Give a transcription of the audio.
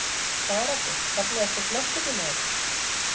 Sara Björk Fallegasti knattspyrnumaðurinn?